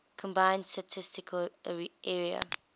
combined statistical area